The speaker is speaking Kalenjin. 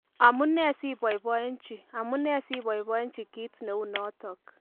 Amu nee siboibochi, Amu nee siiboibochi kito neu notok?